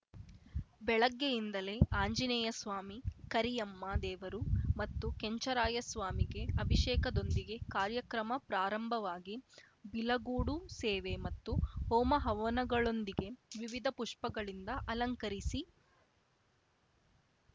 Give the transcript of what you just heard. ಬೆಳಗ್ಗೆಯಿಂದಲೇ ಆಂಜನೇಯಸ್ವಾಮಿ ಕರಿಯಮ್ಮ ದೇವರು ಮತ್ತು ಕೆಂಚರಾಯಸ್ವಾಮಿಗೆ ಅಭಿಷೇಕದೊಂದಿಗೆ ಕಾರ್ಯಕ್ರಮ ಪ್ರಾರಂಭವಾಗಿ ಬಿಲಗೂಡು ಸೇವೆ ಮತ್ತು ಹೋಮ ಹವನಗಳೊಂದಿಗೆ ವಿವಿಧ ಪುಷ್ಪಗಳಿಂದ ಅಲಂಕರಿಸಿ